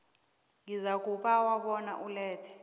uzakubawa bona ulethe